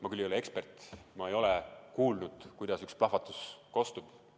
Ma küll ei ole ekspert, ma ei ole kuulnud, kuidas üks plahvatus kostab.